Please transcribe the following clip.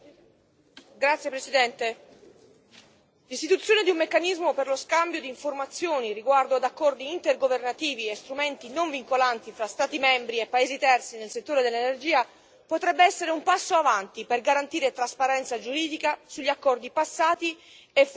Signor Presidente, onorevoli colleghi, l'istituzione di un meccanismo per lo scambio di informazioni riguardo ad accordi intergovernativi e strumenti non vincolanti tra Stati membri e paesi terzi nel settore dell'energia potrebbe essere un passo in avanti per garantire trasparenza giuridica sugli accordi passati e futuri.